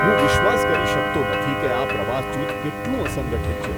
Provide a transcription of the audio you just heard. હું વિશ્વાસ કરી શકતો નથી કે આ પ્રવાસ જૂથ કેટલું અસંગઠિત છે.